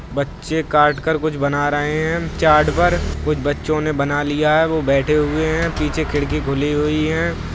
बच्चे काट कर कुछ बना रहे है| चार्ट पर कुछ बच्चों ने बना लिया है| वो बैठे हुए हैं| पीछे खिड़की खुली हुई है।